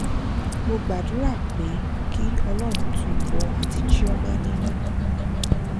mo gbàdúrà pé kí ọlọrun tu ìwọ àti chioma nínú